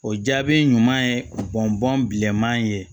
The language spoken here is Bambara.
O jaabi ɲuman ye bɔn bɔn bilenman ye